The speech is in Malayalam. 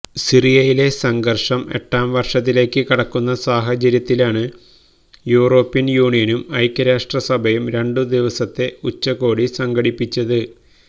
സിറിയയിലെ സഘര്ഷം എട്ടാം വർഷത്തിലേക്ക് കടക്കുന്ന സാഹചര്യത്തിലാണ് യൂറോപ്യൻ യൂണിയനും ഐക്യരാഷ്ട്രസഭയും രണ്ടുദിവസത്തെ ഉച്ചകോടി സംഘടിപ്പിച്ചത്